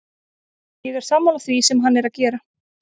Ég er sammála því sem hann er að gera.